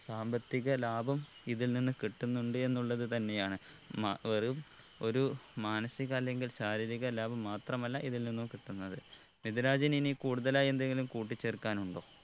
സാമ്പത്തിക ലാഭം ഇതിൽ നിന്ന് കിട്ടുന്നുണ്ട് എന്നുള്ളത് തന്നെയാണ് മ വെറും ഒരു മാനസിക അല്ലെങ്കിൽ ശാരീരിക ലാഭം മാത്രമല്ല ഇതിൽ നിന്നും കിട്ടുന്നത് മിദ്‌ലാജിന് ഇനി കൂടുതലായി എന്തെങ്കിലും കൂട്ടി ചേർക്കനുണ്ടോ